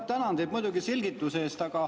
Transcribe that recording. Ma tänan teid muidugi selgituse eest.